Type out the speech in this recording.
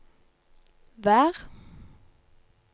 vær